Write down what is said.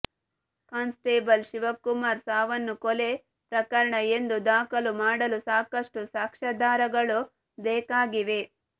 constable Shivakumar ಸಾವನ್ನು ಕೊಲೆ ಪ್ರಕರಣ ಎಂದು ದಾಖಲು ಮಾಡಲು ಸಾಕಷ್ಟು ಸಾಕ್ಷ್ಯಾಧಾರಗಳು ಬೇಕಾಗಿವೆೆ